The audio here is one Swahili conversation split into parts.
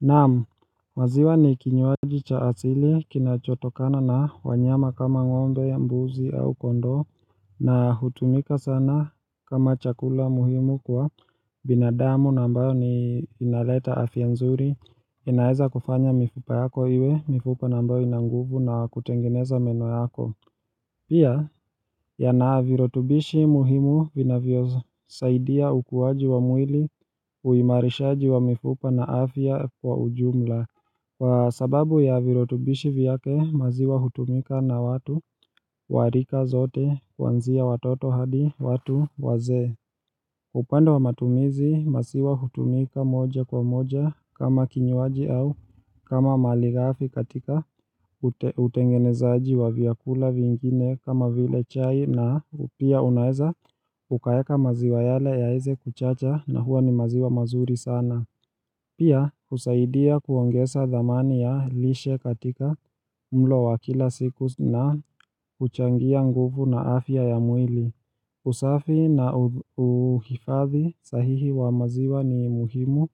Naam, waziwa ni kinyuaji cha asili kinachotokana na wanyama kama ngombe ya mbuzi au kondoo na hutumika sana kama chakula muhimu kwa binadamu na ambayo ni inaleta afya nzuri inaeza kufanya mifupa yako iwe, mifupa na ambayo inanguvu na kutengeneza meno yako Pia yana viritubishi muhimu vinavyo saidia ukuaji wa mwili uimarishaji wa mifupa na afya kwa ujumla Kwa sababu ya virotubishi vyake maziwa hutumika na watu warika zote kwanzia watoto hadi watu wazee Upanda wa matumizi, maziwa hutumika moja kwa moja kama kinyuaji au kama mali ghafi katika utengenezaji wa vyakula vingine kama vile chai na pia unaeza ukaeka maziwa yale yaeze kuchacha na huwa ni maziwa mazuri sana. Pia husaidia kuongeza dhamani ya lishe katika mlo wa kila siku na huchangia nguvu na afya ya mwili. Usafi na uhifadi sahihi wa maziwa ni muhimu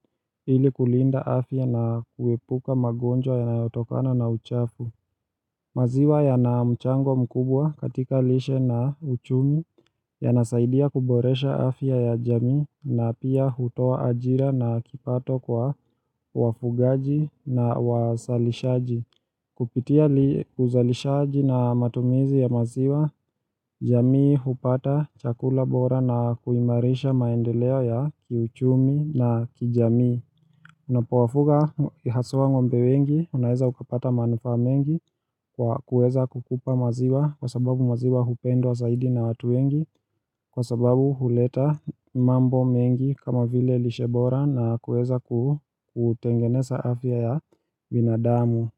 ili kulinda afya na kuepuka magonjwa yanayotokana na uchafu. Maziwa yana mchango mkubwa katika lishe na uchumi yanasaidia kuboresha afya ya jamii na pia hutoa ajira na kipato kwa wafugaji na wasalishaji. Kupitia uzalishaji na matumizi ya maziwa, jamii hupata chakula bora na kuimarisha maendeleo ya kiuchumi na kijamii. Unapowafuga haswa ngombe wengi, unaeza ukapata manufaa mengi kwa kuweza kukupa maziwa kwa sababu maziwa hupendwa zaidi na watu wengi kwa sababu huleta mambo mengi kama vile lishe bora na kuweza kutengeneza afya ya binadamu.